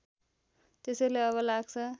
त्यसैले अब लाग्छ